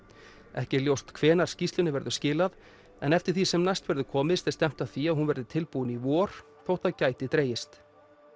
ekki er ljóst hvenær skýrslunni verður skilað en eftir því sem næst verður komist er stefnt að því að hún verði tilbúin í vor þótt það gæti dregist